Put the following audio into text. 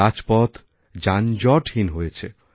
রাজপথযানজটহীন হয়েছে